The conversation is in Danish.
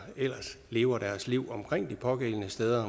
ellers lever deres liv omkring de pågældende steder